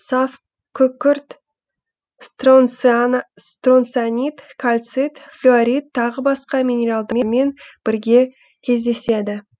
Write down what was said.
саф күкірт стронцианит кальцит флюорит тағы басқа минералдармен бірге кездеседі